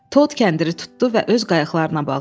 Tod kəndiri tutdu və öz qayıqlarına bağladı.